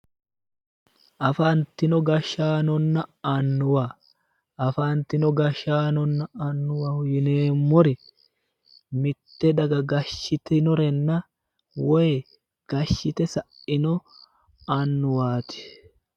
Afantino gashaanonna annuwa ,afantino gashaanonna annuwaho yinneemmori mite daga gashitinorenna woyi gashite saino annuwati